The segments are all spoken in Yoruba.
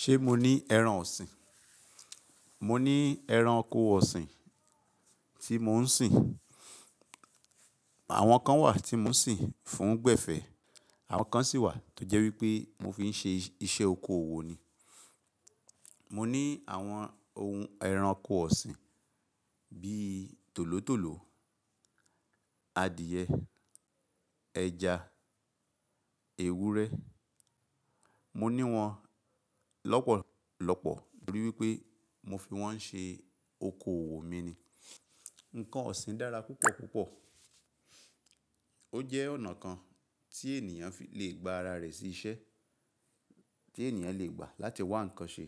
Ṣé mo ní ẹran ọ̀sìn? Mo ní ẹran oko ọ̀sìn tí mò ń sìn. Àwọn kan wà tí mò ń sìn fún gbẹ̀fẹ̀, àwọn kan sì wà tó jẹ́ wípé mò fi ń ṣe iṣẹ́ oko òwò ni. Mo ní àwọn ohun ẹran oko ọ̀sìn bíi tòlótòló, adìẹ, ẹja, ewúrẹ́. Mo ní wọn lọ́pọ̀lọ́pọ̀ nítorí wípé mo fi wọ́n ń ṣe oko òwò mi ni. Ǹkan ọ̀sìn dára púpọ̀púpọ̀. Ó jẹ́ ọ̀nà kan tí ènìyàn fi lè gba ara rẹ̀ sí iṣẹ́, tí ènìyàn lè gbà láti wá ǹkan ṣe.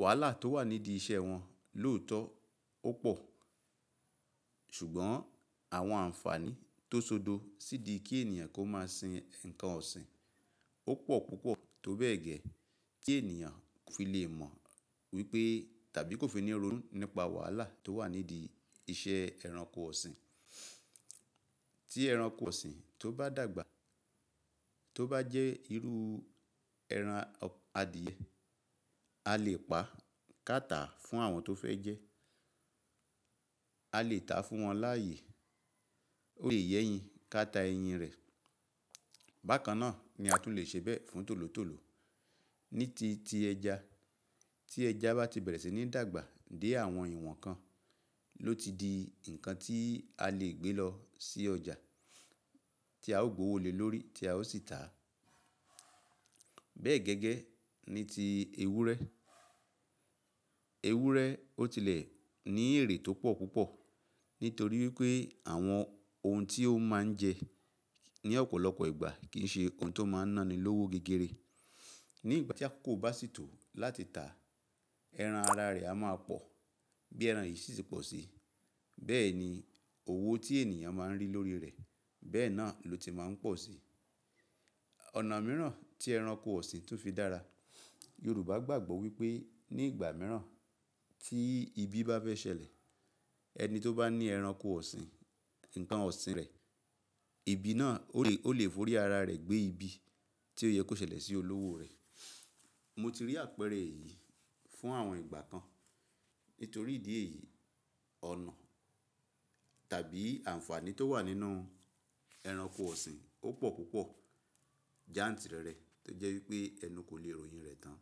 Wàhálà tó wà nídìí iṣẹ́ wọn lóòótọ́ ó pò, ṣùgbọ́n àwọn àǹfààní tó ṣodo sí í di kí ènìyàn kó máa sin ǹkan ọ̀sìn ó pò púpọ̀ tó bẹ́ẹ̀ gẹ́ẹ́ kí ènìyàn fi lè mọ wípé tàbí kó fi ní ìrònú nípa wàhálà tó wà nídìí iṣẹ́ ẹranko ọ̀sìn. Tí ẹranko ọ̀sìn tó bá dàgbà, tó bá jẹ́ irú ẹran adìẹ, a lè pa káta fún àwọn tó fẹ́ jẹ́. A lè tà á fún wọn láàyè. Ó lè yẹ́yin káta ẹyin rẹ̀. Bákan náà ni a tún lè ṣe bẹ́ẹ̀ fún tòlótòló. Ní ti ti ẹja, tí ẹja bá ti bẹ̀rẹ̀ sí ní dàgbà dé àwọn ìwọ̀n kan, ló ti di ǹkan tí a lè gbé lọ sí ọjà tí a ó gbówó lè lórí tí a ó sì tà á. Bẹ́ẹ̀ gẹ́gẹ́ ni ti ewúrẹ́. Ewúrẹ́ ó tilẹ̀ ní èrè tó pọ̀ púpọ̀ nítorí wípé àwọn ohun tí ó máa ń jẹ ní ọ̀pọ̀lọpọ̀ ìgbà kìi ṣe nnkan tó máa ń náni lówó gígéré. Ní ìgbà tí akoko bá sì tó láti tà, ẹran ara rẹ̀ a máa pọ̀ bí ẹran yìí sì ti pọ̀ sí. Bẹ́ẹ̀ ni òwò tí ènìyàn máa ń rí lórí rẹ̀ bẹ́ẹ̀ náà ló ti máa ń pọ̀ sí. Ọ̀nà mìíràn tí ẹranko ọ̀sìn tún fi dára, Yorùbá gbàgbọ́ wípé ní ìgbà mìíràn tí ibi bá fẹ́ ṣẹlẹ̀, ẹni tó bá ní ẹranko ọ̀sìn, ǹkan ọ̀sìn rẹ̀, ibi náà ó lè, ó lè forí ara rẹ̀ gbé ibi tí ó yẹ kó ṣẹlẹ̀ sí olówó rẹ̀. Mo ti rí àpẹẹrẹ èyí fún àwọn ìgbà kan. Nítorí ìdí èyí, ọ̀nà tàbí àǹfààní tó wà nínú ẹranko ọ̀sìn ó pò púpọ̀. Jáǹtì rẹ̀ rẹ̀ tó jẹ́ wípé ẹnu kò le ro oyin rẹ̀ tán.